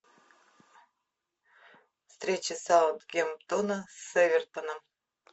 встреча саутгемптона с эвертоном